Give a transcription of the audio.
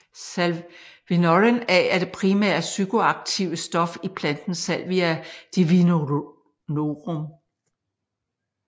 Salvinorin A er det primære psykoaktive stof i planten Salvia divinorum